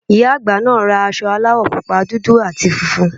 Ìyá àgbà naa ra aṣọ aláwọ̀ pupa, dúdú àti funfun